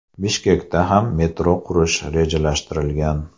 Bishkekda ham metro qurish rejalashtirilgan.